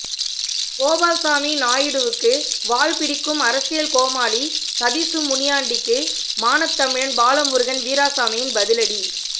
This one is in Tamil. கோபால்சாமி நாயுடுவுக்கு வால் பிடிக்கும் அரசியல் கோமாளி சதீசு முனியாண்டிக்கு மானத்தமிழன் பாலமுருகன் வீராசாமியின் பதிலடி